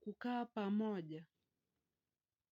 kukaa pamoja.